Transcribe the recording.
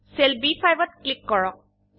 cell B5 ত click কৰক